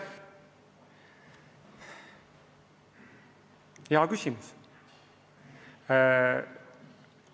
Aitäh, hea küsimus!